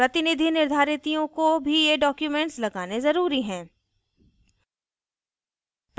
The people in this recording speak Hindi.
प्रतिनिधि निर्धारितियों को भी ये documents लगाने ज़रूरी हैं